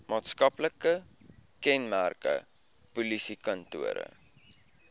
maatskaplike kenmerke polisiekantore